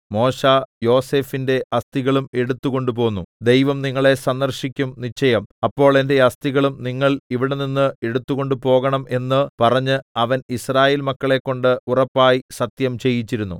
മോശെ യോസേഫിന്റെ അസ്ഥികളും എടുത്തുകൊണ്ടുപോന്നു ദൈവം നിങ്ങളെ സന്ദർശിക്കും നിശ്ചയം അപ്പോൾ എന്റെ അസ്ഥികളും നിങ്ങൾ ഇവിടെനിന്ന് എടുത്തുകൊണ്ട് പോകണം എന്ന് പറഞ്ഞ് അവൻ യിസ്രായേൽമക്കളെക്കൊണ്ട് ഉറപ്പായി സത്യം ചെയ്യിച്ചിരുന്നു